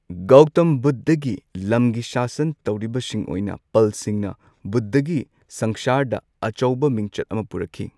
ꯒꯧꯇꯝ ꯕꯨꯙꯒꯤ ꯂꯝꯒꯤ ꯁꯥꯁꯟ ꯇꯧꯔꯤꯕꯁꯤꯡ ꯑꯣꯏꯅ ꯄꯜꯁꯤꯡꯅ ꯕꯨꯙꯒꯤ ꯁꯪꯁꯥꯔꯗ ꯑꯆꯧꯕ ꯃꯤꯡꯆꯠ ꯑꯃ ꯄꯨꯔꯛꯈꯤ꯫